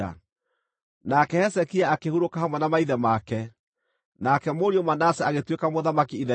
Nake Hezekia akĩhurũka hamwe na maithe make. Nake mũriũ Manase agĩtuĩka mũthamaki ithenya rĩake.